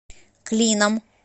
клином